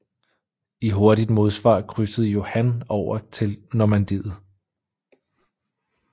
I hurtigt modsvar krydsede Johan over tili Normandiet